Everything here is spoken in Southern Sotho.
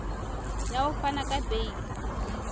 ya ho fana ka beile